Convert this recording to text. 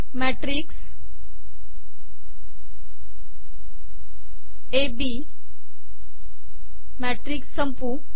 मॅिटकस A B matrix संपवू